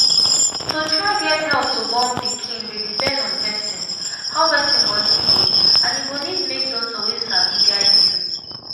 to try get help to born pikin dey depend on person how person body be and e go need make doctor wey sabi guide you.